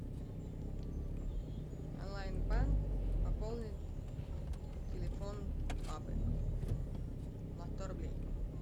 онлайн банк пополнить телефон папы на сто рублей